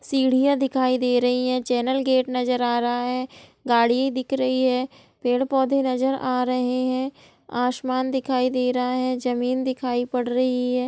सीढ़ियां दिखाई दे रही है। चैनल गेट नजर आ रहा है गाड़ियां दिख रही है पेड़-पौधे नजर आ रहे हैं आसमान दिखाई दे रहा है जमीन दिखाई पड़ रही है।